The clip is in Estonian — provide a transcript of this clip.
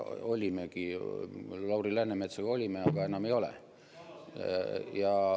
Ja olimegi Lauri Läänemetsaga, aga enam ei ole.